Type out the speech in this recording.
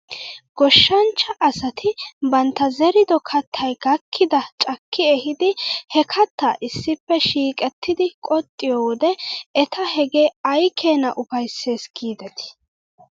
Goshshanchcha asati bantta zerido kattay gakkidaa cakki ehiidi he kattaa issippe shiiqettidi qoxxiyoo wode eta hegee aykeenaa ufaysses giidetii .